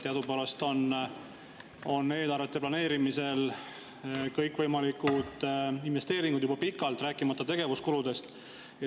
Teadupärast planeeritakse kõikvõimalikud investeeringud eelarvetes juba pikalt, rääkimata tegevuskuludest.